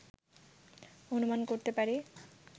অনুমান করতে পারি